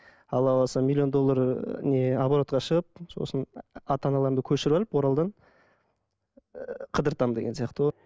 алла қаласа миллион доллар ы не оборотқа шығып сосын ата аналарымды көшіріп алып оралдан ы қыдыртам деген сияқты ғой